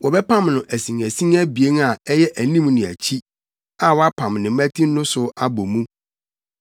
Wɔbɛpam no asinasin abien a ɛyɛ anim ne akyi a wɔapam ne mmati no so abɔ mu.